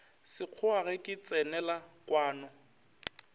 sekgowa ge ke tsenela kwano